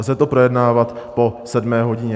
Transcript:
Lze to projednávat po sedmé hodině.